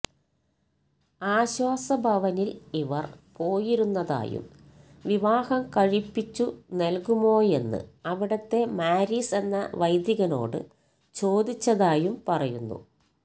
ആശ്വാസ ഭവനിൽ ഇവർ പോയിരുന്നതായും വിവാഹം കഴിപ്പിച്ചു നൽകുമോയെന്ന് അവിടത്തെ മാരിസ് എന്ന വൈദികനോടു ചോദിച്ചതായും പറയുന്നു